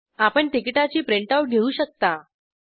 आपण तिकीटाची print out print घेऊ शकता